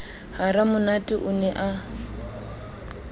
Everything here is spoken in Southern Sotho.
ha ramonate o ne a